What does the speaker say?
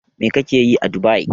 Mai kake yi a Dubai?